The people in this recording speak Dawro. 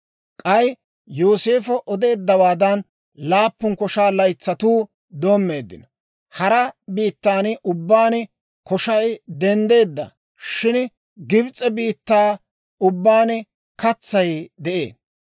K'ay Yooseefo odeeddawaadan laappun koshaa laytsatuu doommeeddino. Hara biittan ubbaan koshay denddeedda; shin Gibs'e biittaa ubbaan katsay de'ee.